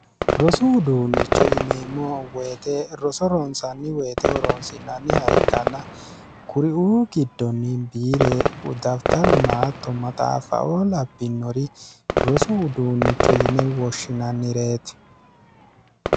rosu uduunnicho yineemmo woyite roso roontsanni woyite horoonsinanniha ikkanna kuriuu giddonni biire udafixaruna tommaxaafaoo labbinori rosu uduunnicho yine woshshinannireeti